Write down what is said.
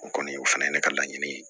O kɔni o fana ye ne ka laɲini ye